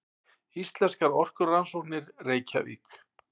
Íslenskar orkurannsóknir, Reykjavík.